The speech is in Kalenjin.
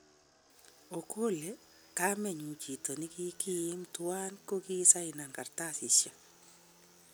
Okole kameyun chito nekikimi tuwan ko kisainen kartasishek